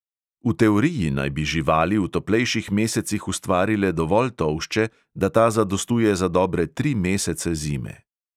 V teoriji naj bi živali v toplejših mesecih ustvarile dovolj tolšče, da ta zadostuje za dobre tri mesece zime.